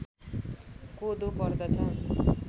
कोदो पर्दछ